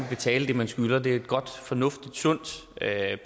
betale det man skylder det er et godt fornuftigt og sundt